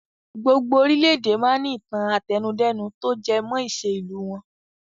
Gbogbo orílédé máa ń ní ìtàn àtẹnudẹ́nu to jẹ mọ́ ìṣe ìlú wọn.